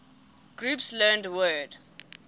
groups learned word